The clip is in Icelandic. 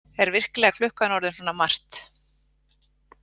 Er virkilega klukkan orðin svona margt?